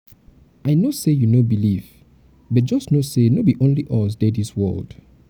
i no say you no believe but just know say no be only us dey dis world.